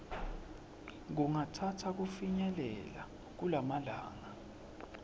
kungatsatsa kufinyelela kumalanga